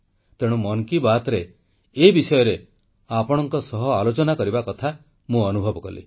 ତେଣୁ ମନ କୀ ବାତ୍ରେ ଏ ବିଷୟରେ ଆପଣଙ୍କ ସହ ଆଲୋଚନା କରିବା କଥା ମୁଁ ଅନୁଭବ କଲି